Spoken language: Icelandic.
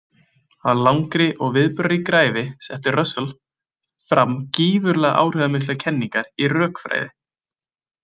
Á langri og viðburðaríkri ævi setti Russell fram gífurlega áhrifamiklar kenningar í rökfræði.